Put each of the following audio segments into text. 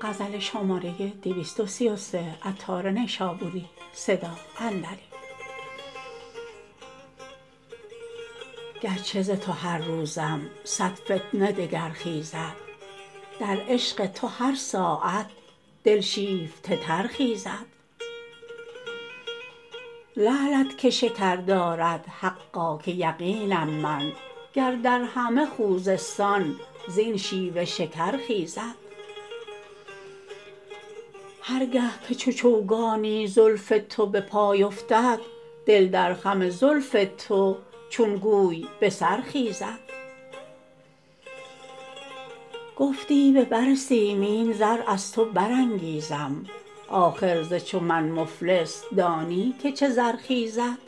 گرچه ز تو هر روزم صد فتنه دگر خیزد در عشق تو هر ساعت دل شیفته تر خیزد لعلت که شکر دارد حقا که یقینم من گر در همه خوزستان زین شیوه شکر خیزد هرگه که چو چوگانی زلف تو به پای افتد دل در خم زلف تو چون گوی به سر خیزد گفتی به بر سیمین زر از تو برانگیزم آخر ز چو من مفلس دانی که چه زر خیزد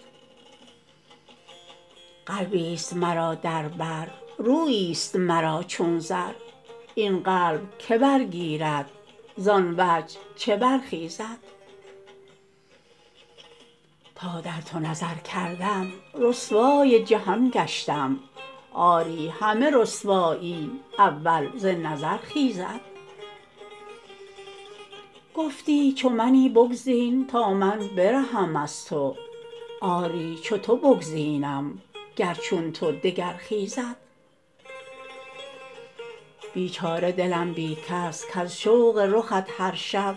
قلبی است مرا در بر رویی است مرا چون زر این قلب که برگیرد زان وجه چه برخیزد تا در تو نظر کردم رسوای جهان گشتم آری همه رسوایی اول ز نظر خیزد گفتی چو منی بگزین تا من برهم از تو آری چو تو بگزینم گر چون تو دگر خیزد بیچاره دلم بی کس کز شوق رخت هر شب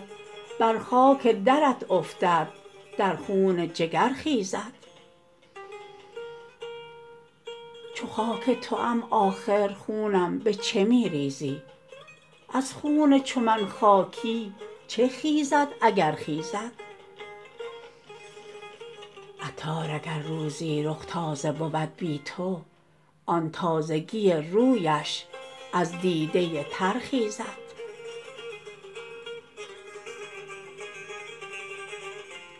بر خاک درت افتد در خون جگر خیزد چون خاک توام آخر خونم به چه می ریزی از خون چو من خاکی چه خیزد اگر خیزد عطار اگر روزی رخ تازه بود بی تو آن تازگی رویش از دیده تر خیزد